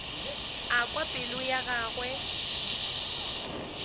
a kwa pelo ya gagwe